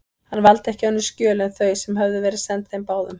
Hann valdi ekki önnur skjöl en þau, sem höfðu verið send þeim báðum.